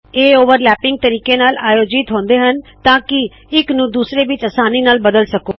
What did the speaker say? ਇਹ ਓਵਰਲੈਪਿੰਗ ਤਰੀਕੇ ਨਾਲ ਆਯੋਜਿਤ ਹੁੰਦੇ ਹੱਨ ਤਾੰ ਕਿ ਇੱਕ ਨੂ ਦੂਸਰੇ ਵਿਚ ਆਸਾਨੀ ਨਾਲ ਬਦਲ ਸਕੋ